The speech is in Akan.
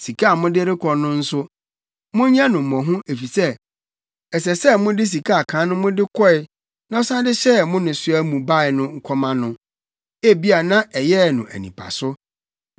Sika a mode rekɔ no nso, monyɛ no mmɔho efisɛ ɛsɛ sɛ mosan de sika a kan no mode kɔe na ɔsan de hyɛɛ mo nnesoa mu bae no kɔma no. Ebia na ɛyɛɛ no anipaso.